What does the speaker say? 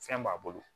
Fɛn b'a bolo